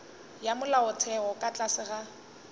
ya molaotheo ka tlase ga